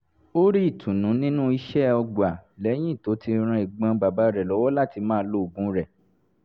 ó rí ìtùnú nínú iṣẹ́ ọgbà lẹ́yìn tó ti ran ẹ̀gbọ́n bàbá rẹ̀ lọ́wọ́ láti máa lo oògùn rẹ̀